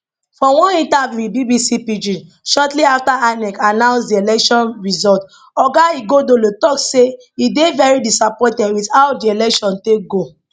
for oneinterviewwit bbc pidgin shortly afta inec announce di election result oga ighodalo tok say e dey very disappointed wit how di election take go